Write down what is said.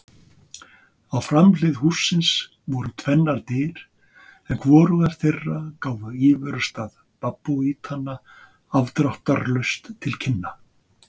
Á framhlið hússins voru tvennar dyr en hvorugar þeirra gáfu íverustað babúítanna afdráttarlaust til kynna.